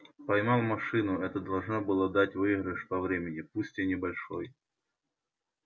поймал машину это должно было дать выигрыш по времени пусть и небольшой